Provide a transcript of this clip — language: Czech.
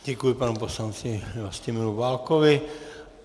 Děkuji panu poslanci Vlastimilu Válkovi.